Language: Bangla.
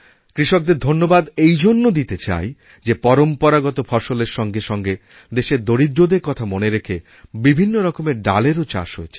কৃষকদের ধন্যবাদ এই জন্য দিতে চাই যেপরম্পরাগত ফসলের সঙ্গে সঙ্গে দেশের দরিদ্রদের কথা মনে রেখে বিভিন্নরকমের ডালেরওচাষ হয়েছে